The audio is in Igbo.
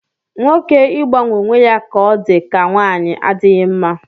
Nwoke ịgbanwe onwe ya ka ọ dị ka nwanyị adịghị mma